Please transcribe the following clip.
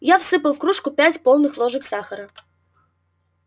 я всыпал в кружку пять полных ложек сахара